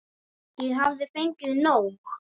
Ég hafði fengið nóg.